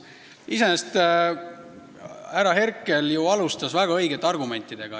Iseenesest härra Herkel alustas väga õigete argumentidega.